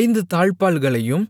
ஐந்து தாழ்ப்பாள்களையும்